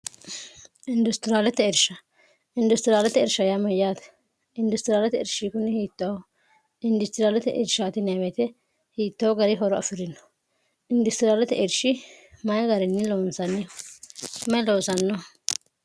industiriaalete ersha industiriaalete ersha yaa mayyaate industiriaalete ershi kunni hiit0ho industiriaalete ershatineewete hiittaho gari horo afi'rino industiriaalete ershi mayi garinni loonsanni mayi loonsanno